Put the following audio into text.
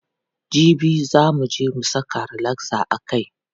Jibi za muje mu saka relaxer a kai.